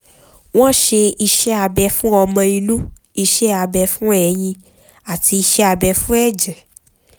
wọ́n ṣe iṣẹ́ abẹ fún ọmọ inú iṣẹ́ abẹ fún ẹyin àti iṣẹ́ abẹ fún ẹ̀jẹ̀